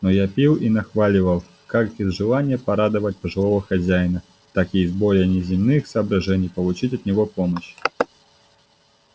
но я пил и нахваливал как из желания порадовать пожилого хозяина так и из более неземных соображений получить от него помощь